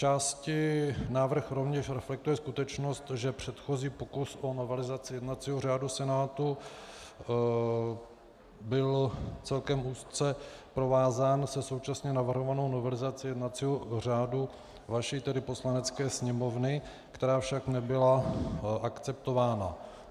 Zčásti návrh rovněž reflektuje skutečnost, že předchozí pokus o novelizaci jednacího řádu Senátu byl celkem úzce provázán se současně navrhovanou novelizací jednacího řádu vaší, tedy Poslanecké sněmovny, která však nebyla akceptována.